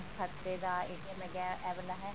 ਖਾਤੇ ਦਾ ਇਹ ਵਾਲਾ ਹੈ ਇਹ ਵਾਲਾ ਹੈਗਾ ਹੈ